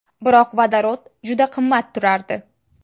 Biroq vodorod juda qimmat turardi.